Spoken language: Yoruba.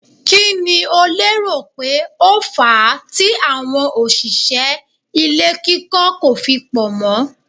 Kí ni o lérò pé ó fàá tí àwọn òṣìṣẹ́ ilé kíkọ́ kò fi pọ̀ mọ́?